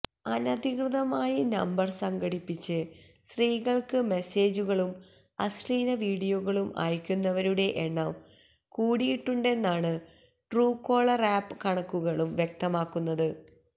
അനധികൃതമായി നമ്പര് സംഘടിപ്പിച്ച് സ്ത്രീകള്ക്ക് മെസേജുകളും അശ്ലീല വീഡിയോകളും അയക്കുന്നവരുടെ എണ്ണം കൂടിയിട്ടുണ്ടെന്നാണ് ട്രൂകോളര് ആപ്പ് കണക്കുകളും വ്യക്തമാക്കുന്നത്